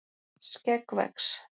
skegg vex